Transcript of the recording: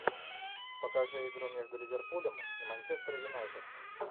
покажи игру между ливерпулем и манчестер юнайтед